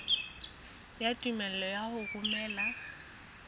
ya tumello ya ho romela